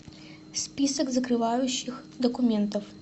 список закрывающих документов